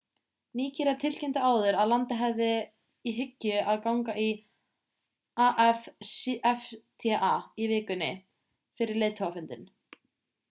nígería tilkynnti áður að landið hefði í hyggju að ganga í afcfta í vikunni fyrir leiðtogafundinn